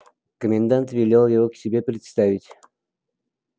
комендант велел его к себе представить